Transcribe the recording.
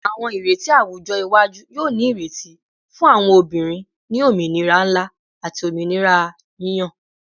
Awọn ireti awujọ iwaju yoo ni ireti fun awọn obinrin ni ominira nla ati ominira yiyan